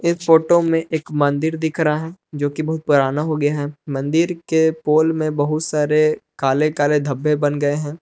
इस फोटो में एक मंदिर दिख रहा है जो की बहुत पुराना हो गया है मंदिर के पोल में बहुत सारे काले काले धब्बे बन गए हैं।